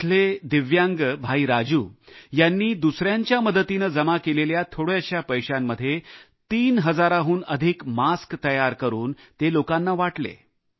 येथील दिव्यांग राजू यांनी दुसऱ्यांच्या मदतीने जमा केलेल्या थोड्याश्या पैशांमध्ये तीन हजारांहून अधिक मास्क तयार करून ते लोकांना वाटले